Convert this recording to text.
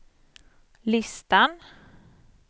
listan